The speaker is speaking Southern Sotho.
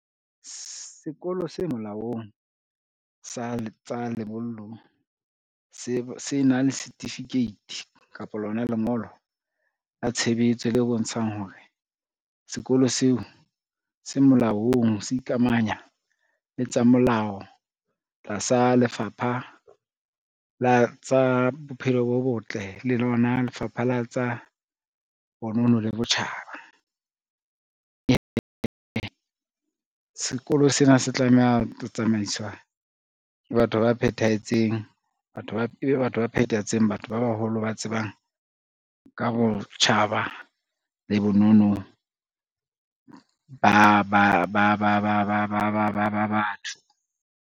Sekolo se molaong sa tsa lebollo se na le setifikeiti kapa lona lengolo la tshebetso le bontshang hore sekolo seo se molaong, se ikamanya le tsa molao tlasa lefapha la tsa bophelo bo botle, le lona lefapha la tsa bonono le botjhaba. Sekolo sena se tlameha ho tsamaiswa ke batho ba phethahetseng, e be batho ba phethahetseng, batho ba baholo ba tsebang ka botjhaba le bonono batho.